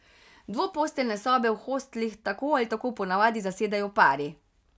Dvoposteljne sobe v hostlih tako ali tako po navadi zasedejo pari.